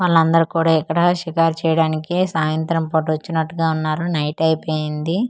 వాళ్లందరు కూడా ఇక్కడ షికారు చేయడానికి సాయంత్రం పూట వచ్చినట్టుగా వున్నారు నైట్ అయిపోయింది ఆ.